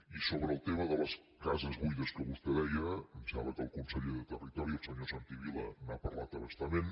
i sobre el tema de les cases buides que vostè deia em sembla que el conseller de territori el senyor santi vila n’ha parlat a bastament